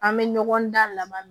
An bɛ ɲɔgɔn da laban